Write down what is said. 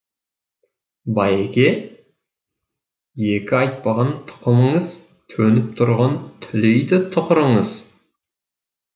байеке екі айтпаған тұқымыңыз төніп тұрған түлейді тұқырыңыз